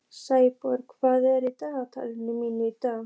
Snæborg, hvað er í dagatalinu mínu í dag?